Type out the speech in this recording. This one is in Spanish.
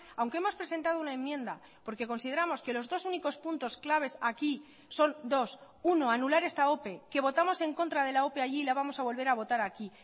aunque hemos presentado una enmienda porque consideramos que los dos únicos puntos claves aquí son dos uno anular esta ope que votamos en contra de la ope allí y la vamos a volver a votar aquí